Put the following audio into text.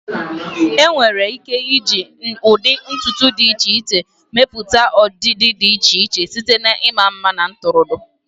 Enwere ike iji ụdị ntutu dị iche iche mepụta ọdịdị dị iche iche, site na ịma mma na ntụrụndụ.